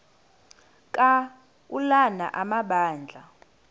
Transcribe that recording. ka ulana amabandla